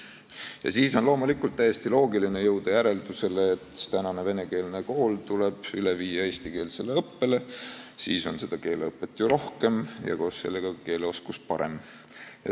Ja siis on loomulikult täiesti loogiline jõuda järeldusele, et venekeelne kool tuleb üle viia eestikeelsele õppele, siis on seda keeleõpet ju rohkem ja koos sellega keeleoskus parem.